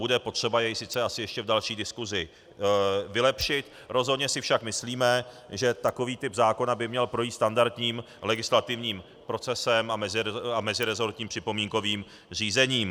Bude potřeba jej sice asi ještě v další diskusi vylepšit, rozhodně si však myslíme, že takový typ zákona by měl projít standardním legislativním procesem a mezirezortním připomínkovým řízením.